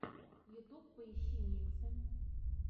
ютюб поищи миксы